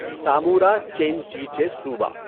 Zamora Chinchipe صوبہ